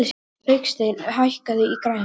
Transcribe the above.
Hauksteinn, hækkaðu í græjunum.